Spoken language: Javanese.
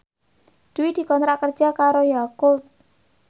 Dwi dikontrak kerja karo Yakult